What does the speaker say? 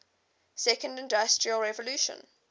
second industrial revolution